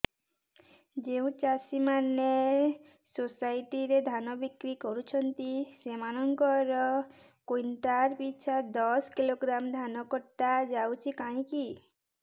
ଯେଉଁ ଚାଷୀ ମାନେ ସୋସାଇଟି ରେ ଧାନ ବିକ୍ରି କରୁଛନ୍ତି ସେମାନଙ୍କର କୁଇଣ୍ଟାଲ ପିଛା ଦଶ କିଲୋଗ୍ରାମ ଧାନ କଟା ଯାଉଛି କାହିଁକି